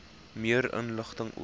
meer inligting oor